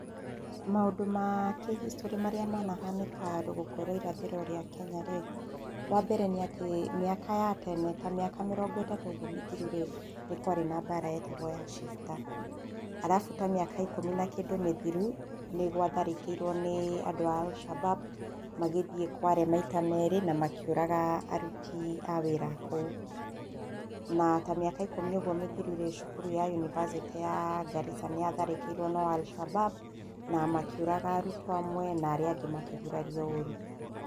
Maũndũ makĩhistorĩ marĩa manahanĩka rũgongo rwa irathĩro rwa Kenya rĩ, wambere nĩ atĩ mĩaka ya tene ta mĩaka mĩrongo itatũ ũguo mĩthiru rĩ, nĩkwarĩ na mbara yetagwo ya cifta, arabũ ta mĩaka ikũmi na kĩndũ mĩthuru, nĩgwatharĩkĩirwo nĩ andũ a Al shabab magĩthiĩ kware maita merĩ namakĩuraga aruti a wĩra a kũu. Na tamiaka ikũmi ũguo mĩthiru rĩ, cukuru ya yunibacĩtĩ ya Garissa nĩyatharĩkĩirwo no Alshabab na makĩũraga arutuo amwe na amwe makĩgurario ũrũ.